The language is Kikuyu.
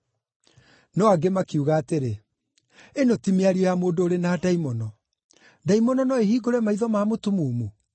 No angĩ makiuga atĩrĩ, “Ĩno ti mĩario ya mũndũ ũrĩ na ndaimono. Ndaimono no ĩhingũre maitho ma mũtumumu?”